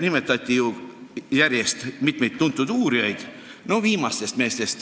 Nimetatud on mitut tuntud uurijat.